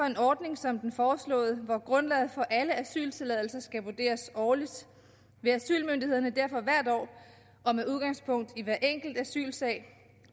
en ordning som den foreslåede hvor grundlaget for alle asyltilladelser skal vurderes årligt vil asylmyndighederne derfor hvert år og med udgangspunkt i hver enkelt asylsag